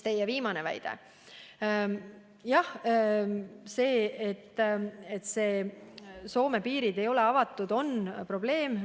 Jah, see, et Soome piirid ei ole avatud, on probleem.